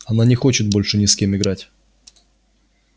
она не хочет больше ни с кем играть